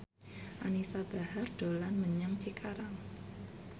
Anisa Bahar dolan menyang Cikarang